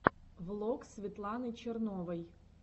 влог светланы черновой